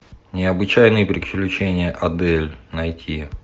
необычайные приключения адель найти